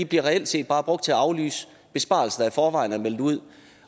bliver reelt set bare brugt til at aflyse besparelser der i forvejen var meldt ud